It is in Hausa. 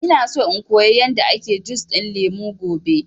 Ina so in koya yanda ake jus ɗin lemu gobe